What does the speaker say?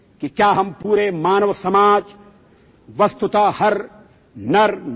মোৰ মৰমৰ দেশবাসীসকল মাত্ৰ কেইদিনমান আগতে ২১ অক্টোবৰত আমি আৰক্ষী স্মৰণ দিৱস উদযাপন কৰিছিলো